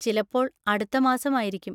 ചിലപ്പോൾ അടുത്ത മാസം ആയിരിക്കും.